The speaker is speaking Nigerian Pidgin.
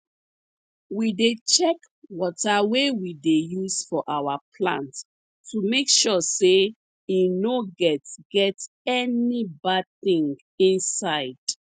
we dey check water wey we dey use for our plants to make sure say e no get get any bad thing inside